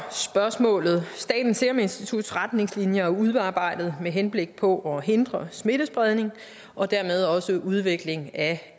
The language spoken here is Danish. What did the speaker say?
spørgsmålet statens serum instituts retningslinjer er udarbejdet med henblik på at hindre smittespredning og dermed også udvikling af